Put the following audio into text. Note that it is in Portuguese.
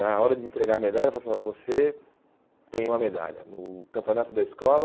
Na hora de entregar a medalha, eu falava, assim ó você tem uma medalha no campeonato da escola.